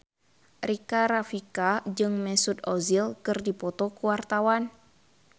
Rika Rafika jeung Mesut Ozil keur dipoto ku wartawan